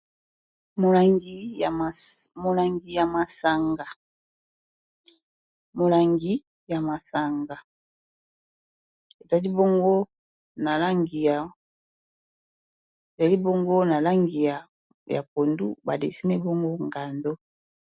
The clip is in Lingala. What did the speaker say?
Molangi ya masanga ezali bongo na langi ya pondu ba dessine bongo ngando